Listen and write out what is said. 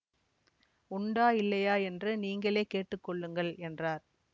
உண்டா இல்லையா என்று நீங்களே கேட்டு கொள்ளுங்கள் என்றார்